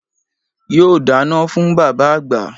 Yóò dáná fún bàbá àgbà